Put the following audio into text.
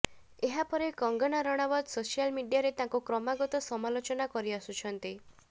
ଏହା ପରେ କଙ୍ଗନା ରାଣାୱତ ସୋସିଆଲ ମିଡିଆରେ ତାଙ୍କୁ କ୍ରମାଗତ ସମାଲୋଚନା କରିଆସୁଛନ୍ତି